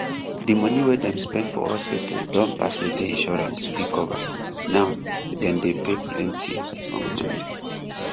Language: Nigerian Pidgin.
di money wey dem spend for hospital don pass wetin insurance fit cover now dem dey pay plenty from hand